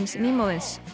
nýmóðins